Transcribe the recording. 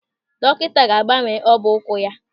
Dọkịta ga-agbawa ọbọ ụkwụ ya.